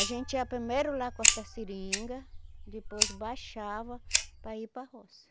A gente ia primeiro lá cortar seringa, depois baixava para ir para a roça.